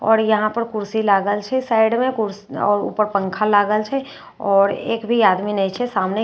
और यहाँ पर कुसी लागल छे साइड में और ऊपर पंखा लागल छे और एक भी आदमी नहीं छे सामने।